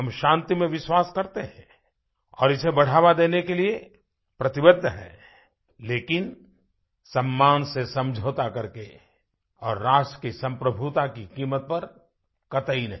हम शांति में विश्वास करते हैं और इसे बढ़ावा देने के लिए प्रतिबद्ध हैं लेकिन सम्मान से समझौता करके और राष्ट्र की सम्प्रभुता की कीमत पर कतई नहीं